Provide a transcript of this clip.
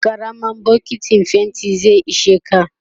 karamar bokintin fainti zai isheka